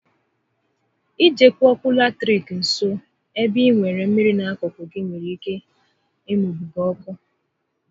I jekwu ọkụ latiriki nso ébé ị nwèrè mmịrị n'akụkụ gị nwere ike ị munye gị ọkụ